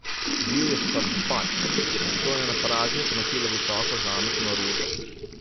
Bil je sabbat, zato je na praznik nosila visoko žametno ruto.